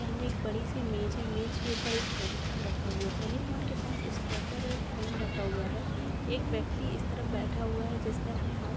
सामने एक बडीसी इमेज है इमेज के ऊपर एक टेलीफ़ोन रखा हुआ टेलीफ़ोन के पास स्टेप्लर और एक पेन रखा हुआ है एक व्यक्ति इस तरफ बैठा हुआ है। जिसने अपने हात--